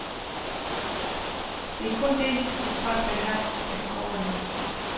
Det er kun det, som folk vil have, der kan overleve.